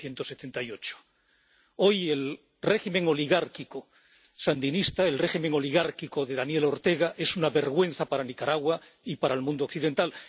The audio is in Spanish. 1978. Hoy el régimen oligárquico sandinista, el régimen oligárquico de Daniel Ortega es una vergüenza para Nicaragua y para el mundo occidental.